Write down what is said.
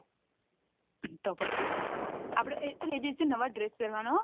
તો પછી એ દિવસે નવા dress પેરવાના